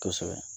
Kosɛbɛ